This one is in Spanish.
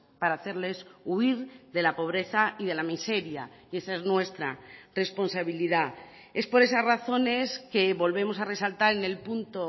para hacerles huir de la pobreza y de la miseria y esa es nuestra responsabilidad es por esas razones que volvemos a resaltar en el punto